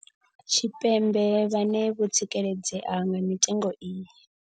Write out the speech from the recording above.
Tshipembe vhane vho tsikeledzea nga mitengo iyi.